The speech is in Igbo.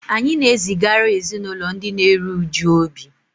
Anyị na-ezigara ezinụlọ ndị na-eru uju obi